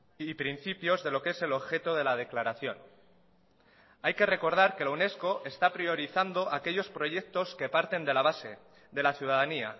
y principios de lo que es el objeto de la declaración hay que recordar que la unesco está priorizando aquellos proyectos que parten de la base de la ciudadanía